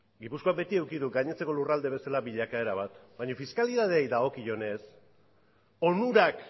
gipuzkoak beti eduki du gainontzeko lurraldeek bezala bilakaera bat baina fiskalitateari dagokionez onurak